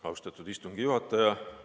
Austatud istungi juhataja!